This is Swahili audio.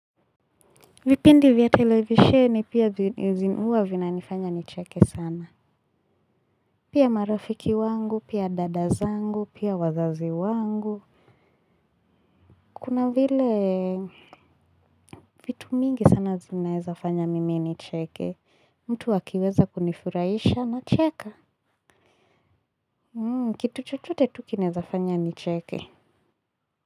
Vipindi vya televisheni pia huwa vinanifanya nicheke sana. Pia marafiki wangu, pia dada zangu, pia wazazi wangu kuna vile vitu mingi sana zinaezafanya mimi nicheke, mtu akiweza kunifurahisha nacheka. Kitu chochote tu kinaezafanya nicheke.